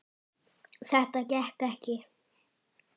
Þetta gekk ekki.